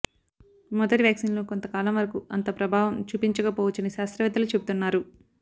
మొదటి వ్యాక్సిన్లు కొంతకాలం వరకు అంత ప్రభావం చూపించక పోవచ్చని శాస్త్రవేత్తలు చెబుతున్నారు